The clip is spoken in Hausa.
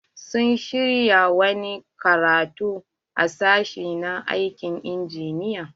Sun shirya wani karatu a sashi na aikin injiniya.